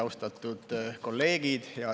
Austatud kolleegid!